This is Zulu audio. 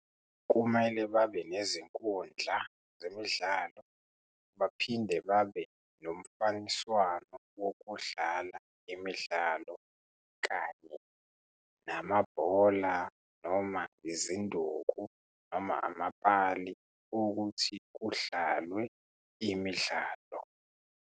Kumele babe nezinkundla zemidlalo, baphinde babe nomfaniswano wokudlala imidlalo, kanye namabhola, noma izinduku, noma amapali ukuthi kudlalwe imidlalo.